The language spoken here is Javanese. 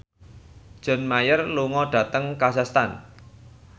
John Mayer lunga dhateng kazakhstan